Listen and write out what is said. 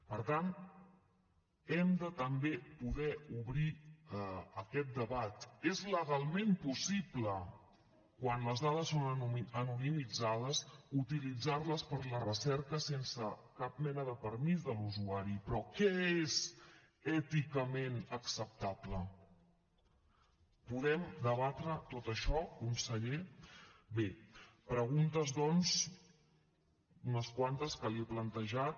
per tant hem de també poder obrir aquest debat és legalment possible quan les dades són anonimitzades utilitzar les per a la recerca sense cap mena de permís de l’usuari però què és èticament acceptable podem debatre tot això conseller bé preguntes doncs unes quantes que li he plantejat